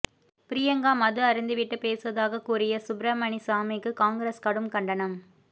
பிரியங்கா மது அருந்திவிட்டு பேசுவதாக கூறிய சுப்ரமணிசாமிக்கு காங்கிரஸ் கடும் கண்டனம்